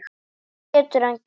Hvað getur hann gert?